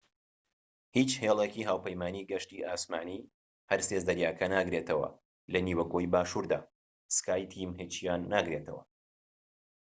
هیچ هێلێکی هاوپەیمانی گەشتی ئاسمانی هەرسێ زەریاکە ناگرێتەوە لە نیوەگۆی باشووردا سکای تیم هیچیان ناگرێتەوە